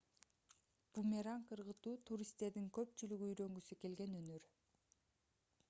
бумеранг ыргытуу туристтердин көпчүлүгү үйрөнгүсү келген өнөр